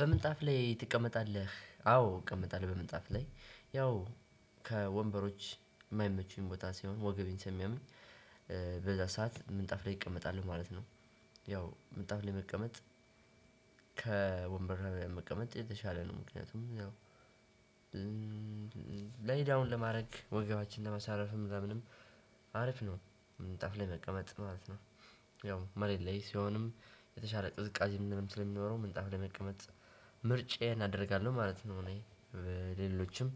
በምንጣፍ ላይ ትቀመጣለህ አዎ እቀመጣለሁ በምንጣፍ ላይ ያው ከወንበሮች የማይመቹኝ ቦታ ሲሆን ወገቤን ስለሚያምኝ በዛ ሰዓት ምንጣፍ ላይ እቀመጣለው ማለት ነው። ያው ምንጣፍ ላይ መቀመጥ። ከወንበር ላይ መቀመጥ የተሻለ ነው። ምክንያቱም ያው ላይ ዳውን ለማድረግ ወገባችን ለመሳረፍም ለምንም አሪፍነው ነው ምንጣፍ መቀመጥ ማለት ነው። ያው መሬት ላይ ሲሆንም የተሻለ ቅዝቃዜ ምንም ስለሚኖረው ምንጣፍ ላይ መቀመጥ ምርጫዬን አደርጋለሁ ማለት ነው። እኔ ሌሎችም